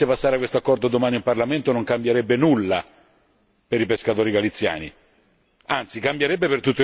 A parte il fatto che, se non dovesse passare quest'accordo domani in Parlamento, non cambierebbe nulla per i pescatori galiziani.